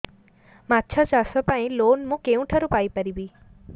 ମାଛ ଚାଷ ପାଇଁ ଲୋନ୍ ମୁଁ କେଉଁଠାରୁ ପାଇପାରିବି